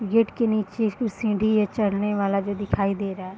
Gate के नीचे कुछ सीढ़ी है चढ़ने वाला जो दिखाई दे रहा है।